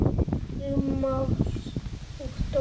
Sigmar og Dóra.